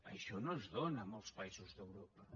això no es dóna a molts països d’europa